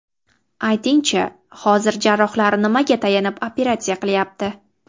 Aytingchi, hozir jarrohlar nimaga tayanib operatsiya qilyapti?